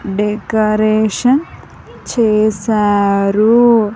Decoration చేశారు.